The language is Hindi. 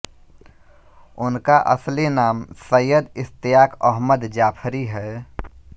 उनका असली नाम सैयद इश्तियाक अहमद जाफरी है